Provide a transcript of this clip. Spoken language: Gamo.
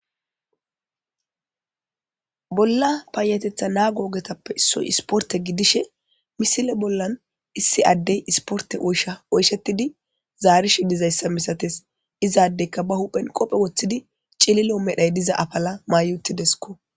Bolla paayatetha naa googetappe issoy isporte gidishe misile bollan issi addey isporte oysha oyshetidi zaarish dizayssa misates izaadeyka ba huphen qophe woththidi cililo medhay diza afala maayutidesko.